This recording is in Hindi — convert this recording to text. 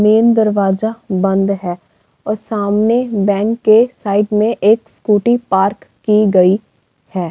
मेन दरवाजा बंद है और सामने बैंक के साइड में एक स्कूटी पार्क की गई है।